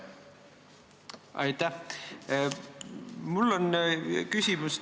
Aitäh!